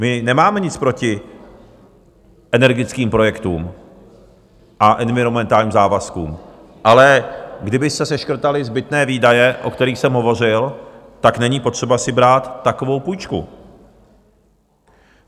My nemáme nic proti energetickým projektům a environmentálním závazkům, ale kdyby se seškrtaly zbytné výdaje, o kterých jsem hovořil, tak není potřeba si brát takovou půjčku.